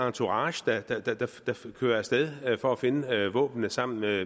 entourage der kører af sted for at finde våbnene sammen med